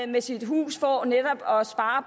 med sit hus for netop at spare